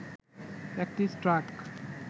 একটি ট্রাক